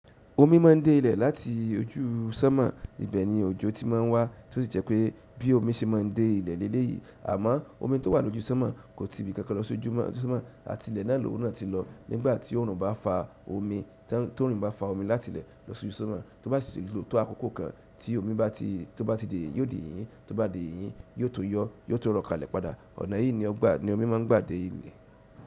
Omi ma ń dé ilẹ̀ láti ojú sọ́mọ̀, ibẹ̀ ni òjò ti ma ń wá, tí ó sì jẹ́ pé bí omi ṣe ma ń dé ilẹ̀ léleyìí, àmọ́ omi tó wà lójú sọ́mọ̀ kò ti ibìkankan lọ sójú sọ́mọ̀ àti ilẹ̀ náà lóhùn náà ti lọ. Nígbà tí oòrùn bá fa omi, tó orun ba fa omi láti ilẹ̀ lọ sójú sọ́mọ̀, tó bá sì tò ó tó àkókò kan tí omi bá ti tó bá ti dé, yóò di yìnyín, tó bá di yìnyín, yóò tun yọ, yóò tún rọ̀ kalẹ̀ padà. Ọ̀nà yìí ni ọgbà ni omi má ń gbà dé ilẹ̀.